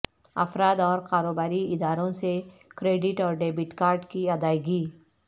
افراد اور کاروباری اداروں سے کریڈٹ اور ڈیبٹ کارڈ کی ادائیگی